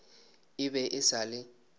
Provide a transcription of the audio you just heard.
e be e sa le